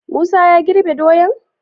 Musa ya girbe doyan?